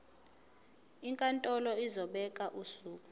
inkantolo izobeka usuku